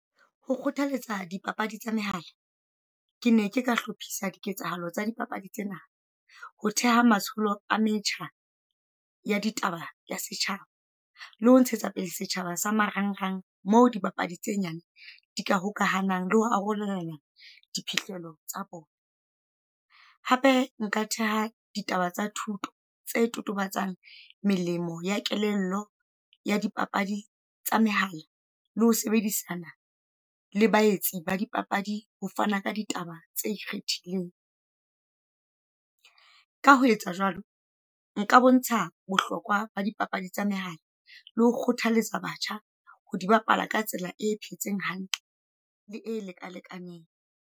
Ho kgothaletsa dipapadi tsa mehala, ke ne ke ka hlophisa diketsahalo tsa dipapadi tsena. Ho theha matsholo a metjha ya ditaba ya setjhaba, le ho ntshetsa pele setjhaba sa marang rang, mo di bapadi tse nyane di ka hokahanang le ho arolelana diphihlelo tsa bona. Hape nka theha ditaba tsa thuto tse totobatsang melemo ya kelello ya di papadi tsa mehala, le ho sebedisana le baetsi ba di papadi ho fana ka ditaba tse ikgethileng. Ka ho etsa jwalo, nka bontsha bohlokwa ba dipapadi tsa mehala, le ho kgothaletsa batjha ho di bapala ka tsela e phetseng hantle le e lekalekaneng.